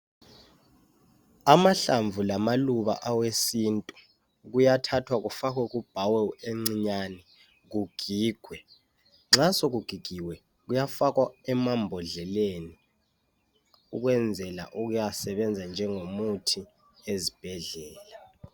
Amahlamvu lamaluba awesintu kuyathathwa kufakhwe kubhawelu encinyane kugigwe. Nxa sokugigiwe kuyafakhwa emambodleleni ukwenzela ukuyasebenza njengomuthi ezibhedlela.